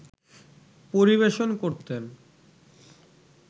পরিবেশন করতেন